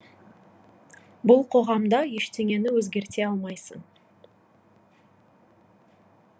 бұл қоғамда ештеңені өзгерте алмайсың